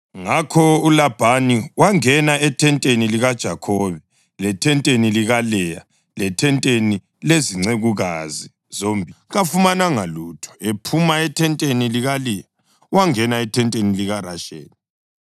Ngakho uLabhani wangena ethenteni likaJakhobe lethenteni likaLeya lethenteni lezincekukazi zombili, kodwa kafumananga lutho. Ephuma ethenteni likaLeya, wangena ethenteni likaRasheli.